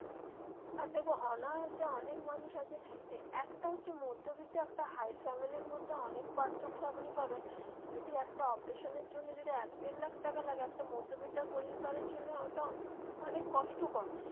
আর দেখবে অনায়াসে অনেক মানুষ আছে এই একটা হচ্ছে মধ্যবিত্ত একটা high family র মধ্যে অনেক পার্থক্য আপনি পাবেন যদি একটা operation এর জন্য যদি এক দেড় লাখ টাকা লাগে একটা মধ্যবিত্ত পরিবারের জন্য ঐটা অনেক কষ্টকর.